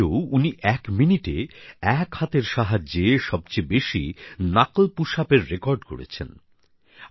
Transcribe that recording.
এর আগেও তিনি এক মিনিটে এক হাতের সাহায্যে সবচেয়ে বেশি নাকল্ পুশআপএর রেকর্ড গড়েছেন